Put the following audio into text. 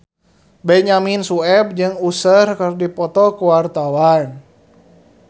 Benyamin Sueb jeung Usher keur dipoto ku wartawan